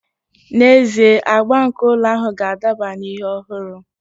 N'ezie, agba nke ụlọ ahụ ga-adaba na ihe ọhụrụ